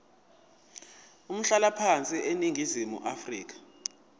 umhlalaphansi eningizimu afrika